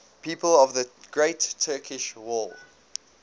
people of the great turkish war